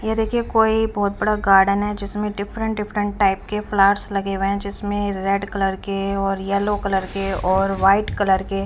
ये देखिए कोई बहुत बड़ा गार्डन है जिसमें डिफरेंट डिफरेंट टाइप के प्लांट्स लगे हुए है जिसमें रेड कलर के और येलो कलर के और व्हाईट कलर के--